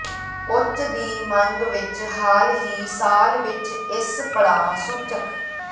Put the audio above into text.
ਉੱਚ ਦੀ ਮੰਗ ਵਿਚ ਹਾਲ ਹੀ ਸਾਲ ਵਿੱਚ ਇਸ ਪੜਾਅ ਸੂਚਕ